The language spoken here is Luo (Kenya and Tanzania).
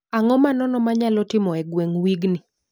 Ang'o manono manyalo timo e gweng' wign